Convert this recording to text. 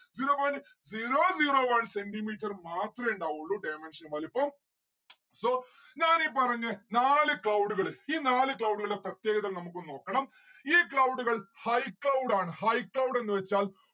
zero point zero zero one centi metre മാത്രേ ഇണ്ടാവുള്ളു dimention വലിപ്പം. so ഞാൻ ഈ പറഞ്ഞ നാല് cloud കള് ഈ നാല് cloud കളെ പ്രത്യേകത നമുക്കൊന്ന് നോക്കണം ഈ cloud ഉകൾ high cloud ആണ്. high cloud എന്ന് വച്ചാൽ